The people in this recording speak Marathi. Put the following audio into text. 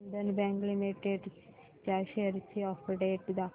बंधन बँक लिमिटेड च्या शेअर्स ची अपडेट दाखव